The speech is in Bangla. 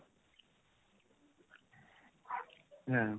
হ্যাঁ